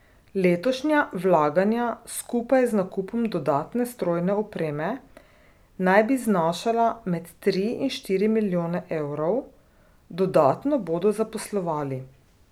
Letošnja vlaganja skupaj z nakupom dodatne strojne opreme naj bi znašala med tri in štiri milijone evrov, dodatno bodo zaposlovali.